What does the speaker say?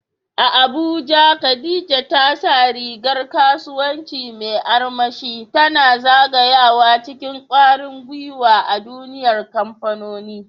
A Abuja, Khadija ta sa rigar kasuwanci mai armashi, tana zagayawa cikin kwarin gwiwa a duniyar kamfanoni.